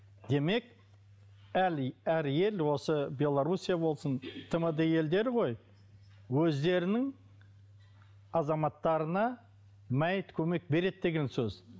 демек әр ел осы белоруссия болсын тмд елдері ғой өздерінің азаматтарына мәйіт көмек береді деген сөз